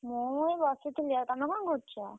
ମୁଁ ଏଇ ବସିଥିଲି ଆଉ, ତମେ କଣ କରୁଛ?